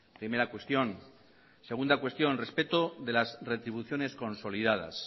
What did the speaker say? primera cuestión segunda cuestión respeto de las retribuciones consolidadas